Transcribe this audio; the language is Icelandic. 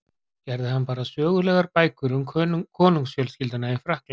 Gerði hann bara sögulegar bækur um konungsfjölskylduna í Frakklandi?